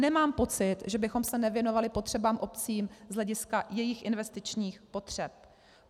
Nemám pocit, že bychom se nevěnovali potřebám obcí z hlediska jejich investičních potřeb.